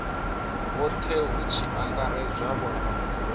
vhothe hu tshi angaredzwa vhoramafhungo